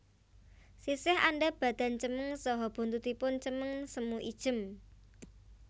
Sisih andhap badan cemeng saha buntutipun cemeng semu ijem